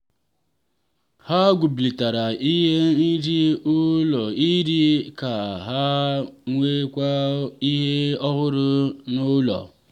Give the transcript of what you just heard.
ha gbubilatara iri nri n'ulo nri ka ha nwetakwuo ihe ọhụrụ n'ụlọ.